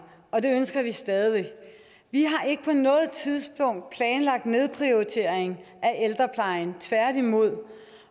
og det ønsker vi stadig væk vi har ikke på noget tidspunkt planlagt nedprioritering af ældreplejen tværtimod